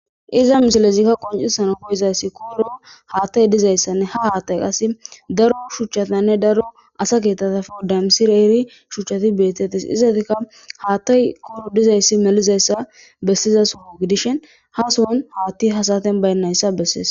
Iza misiley qoncisana koyizasi koyro haatey dizaysanne ha hatey qase daro shuchatanne daro asa keetata wodamisidaysidayti shuchati betetes, ha sohon haatay koyro de'izaysa gididishn ha sohon haatay ha'i baynaysa beses